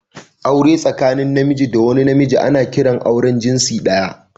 Aure tsakanin Namiji da wani Namiji ana kiransa auren jinsi daya